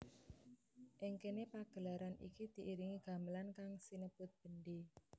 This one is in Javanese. Ing kéné pagelaran iki diiringi gamelan kang sinebut bendhé